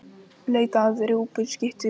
Leita að rjúpnaskyttu við Heklu